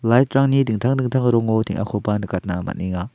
light-rangni dingtang dingtang room-o teng·akoba nikatna man·enga.